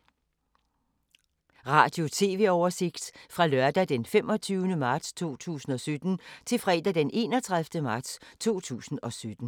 Radio/TV oversigt fra lørdag d. 25. marts 2017 til fredag d. 31. marts 2017